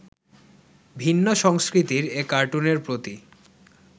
ভিন্ন সংস্কৃতির এ কার্টুনের প্রতি